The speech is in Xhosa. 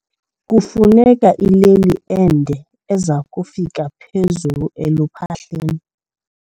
Kufuneka ileli ende eza kufika phezulu eluphahleni.